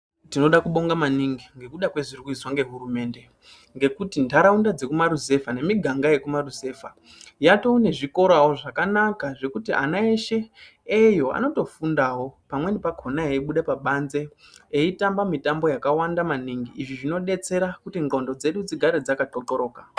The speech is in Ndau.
Tinoda kubonga maningi ngekuda kwezviri kuizwa ngehurumende ngekuti ntaraunda dzekumarizevha nemiganga yekumaruzevha yaatane zvikorawo zvakanaka zvekuti ana eshe eyo anotofundawo pamweni pakhona anotobuda pabanze eitamba mitambo yakawanda maningi izvi zvinodetsera kuti ndxondo dzedu dzigare dzaka thothoroka.